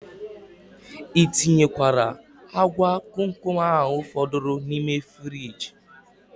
I tinyekwara agwa komkom ahu fọdụrụ n' ime friji?